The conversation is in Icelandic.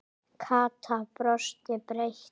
Kata brosti breitt.